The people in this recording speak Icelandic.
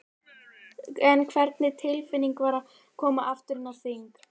En hvernig tilfinning var að koma aftur inn á þing?